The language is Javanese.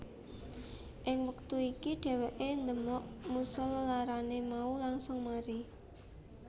Ing wektu iku dheweké ndemok Musa lelarané mau langsung mari